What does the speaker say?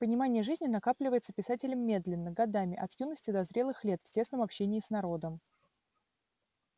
понимание жизни накапливается писателем медленно годами от юности до зрелых лет в тесном общении с народом